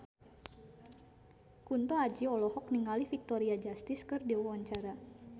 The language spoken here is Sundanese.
Kunto Aji olohok ningali Victoria Justice keur diwawancara